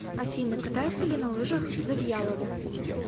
афина катается ли на лыжах завьялова